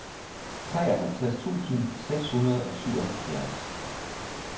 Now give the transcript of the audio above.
treoghalvtreds tusind seks hundrede og syvoghalvfjerds